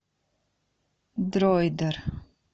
дроидер